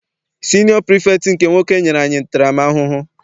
Siniọ pirifektị nke nwoke nyere anyị ntara m ahụhụ.